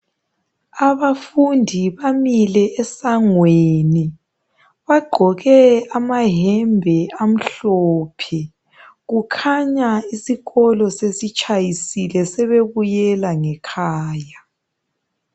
Abafundi bamile esangweni bagqoke amayembe amhlophe kukhanya isikolo sesitshayisile sebebuyela ngekhaya